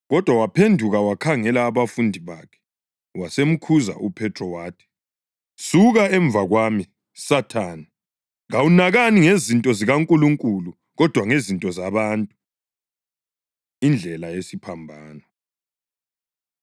Kodwa waphenduka wakhangela abafundi bakhe, wasemkhuza uPhethro wathi, “Suka emuva kwami, Sathane! Kawunakani ngezinto zikaNkulunkulu, kodwa ngezinto zabantu.” Indlela Yesiphambano